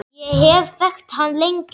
Ég hef þekkt hann lengi.